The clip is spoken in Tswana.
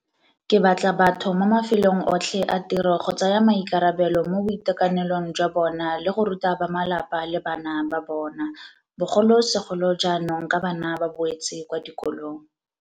Ke batla batho mo mafelong otlhe a tiro go tsaya maikarabelo mo boitekanelong jwa bona le go ruta bamalapa le bana ba bona, bogolosegolo jaanong ka bana ba boetse kwa dikolong.